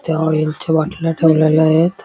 इथं ऑईल च्या बाटल्या ठेवलेल्या आहेत.